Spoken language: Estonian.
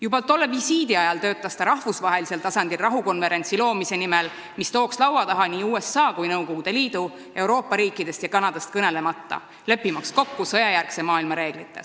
Juba tolle visiidi ajal töötas ta rahvusvahelisel tasandil rahukonverentsi nimel, mis tooks ühe laua taha nii USA kui Nõukogude Liidu, Euroopa riikidest ja Kanadast kõnelemata, leppimaks kokku sõjajärgse maailma reeglites.